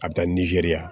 A bɛ taa nizeriya